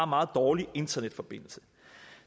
meget dårlig internetforbindelse